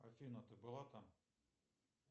афина ты была там